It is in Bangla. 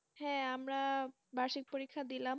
হ্যাঁ, আমরা বার্ষিক পরীক্ষা দিলাম।